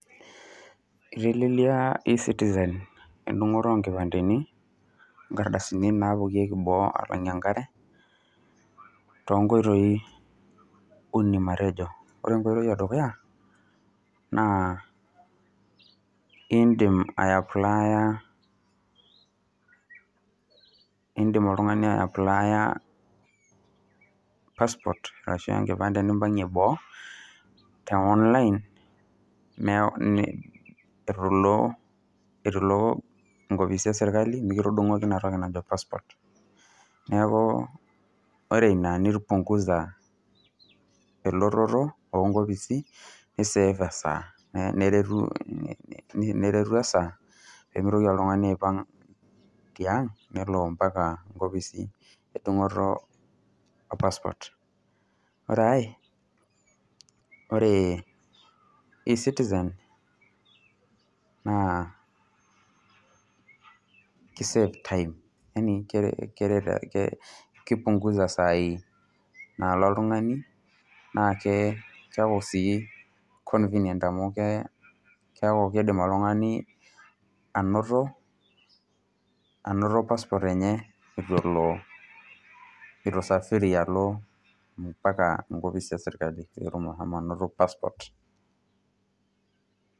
Itelelelia e-Citizen endung'oto oo nkipandeni, inkardasini naapuoyieki boo alang'ie enkare too nkoitoi uni matejo. Ore enkoitoi e dukuya naa iindim aiaplaya iindim oltung'ani aipplaiya passport ashu enkipande nimpang'ie boo te online mee ee ni itu ilo itu iko inkopisini e serkali mekitudung'oki ina toki najo passport. Neeku ore ina nipung'uza elototo oo nkopisi nisave esaa neretu neretu e saa pee mitoki oltung'ani aipang' tiang' nelo mpaka nkopisi endung'oto e passport. Ore ai ore e -Citizen, naa kisave time yaani keret ke kipung'uza isai naalo oltung'ani naake keeku sii convinient amu kee keeku kiidim oltung'ani anoto anoto passport enye itu elo itu isafiri alo mpaka inkopisi e serkali peetum ashomo anoto passport.